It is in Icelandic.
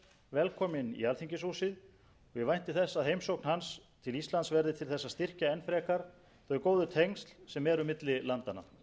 velkominn í alþingishúsið og ég vænti þess að heimsókn hans til íslands verði til þess að styrkja enn frekar þau góðu tengsl sem eru milli landanna